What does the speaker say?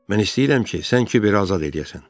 Mən istəyirəm ki, sən Kiberi azad eləyəsən.